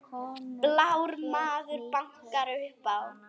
Blár maður bankar upp á